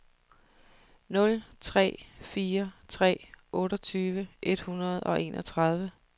nul tre fire tre otteogtyve et hundrede og enogtredive